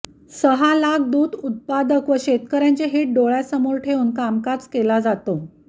सहा लाख दूध उत्पादक व शेतकऱ्यांचे हित डोळ्यासमोर ठेवून कामकाज केला जातो